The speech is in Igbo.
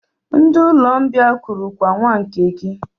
Ndị Ụlọmbịa kurukwa nwa nke gị!